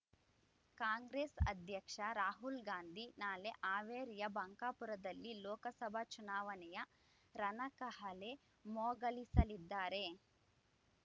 ಕಾಂಗ್ರೆಸ್ ಅಧ್ಯಕ್ಷ ರಾಹುಲ್‌ಗಾಂಧಿ ನಾಳೆ ಹಾವೇರಿಯ ಬಂಕಾಪುರದಲ್ಲಿ ಲೋಕಸಭಾ ಚುನಾವಣೆಯ ರಣಕಹಳೆ ಮೊಗಲಿಸಲಿದ್ದಾರೆ